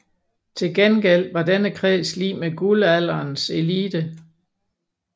Til gengæld var denne kreds lig med Guldalderens elite